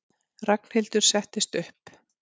Ragnhildur settist upp.